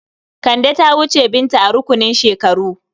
Kande ta wuce Binta a rukunin shekaru.